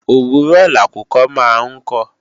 òwúrọ̀ lakùkọ máa ń kọ